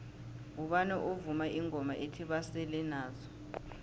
ngubani ovuma ingoma ethi basele nazo